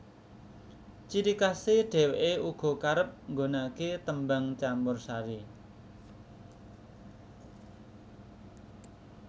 Ciri khasè dhewèkè uga kerep nggunakakè tembang campursari